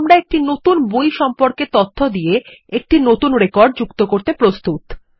এখন আমরা একটি নতুন বই সম্পর্কে তথ্য দিয়ে একটি নতুন রেকর্ড যুক্ত করতে প্রস্তুত